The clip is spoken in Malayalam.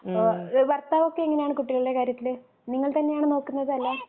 ഭർത്താവ് ഒക്കെ എങ്ങനെയാണു കുട്ടികളുടെ കാര്യത്തില്. നിങ്ങൾ തന്നെയാണോ നോക്കുന്നത്‌ അല്ല